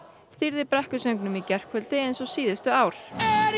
stýrði brekkusöngnum í gærkvöldi eins og síðustu ár